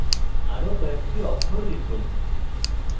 আরো কয়েকটি অক্ষর লিখুন